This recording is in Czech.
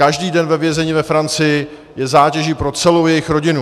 Každý den ve vězení ve Francii je zátěží pro celou jejich rodinu.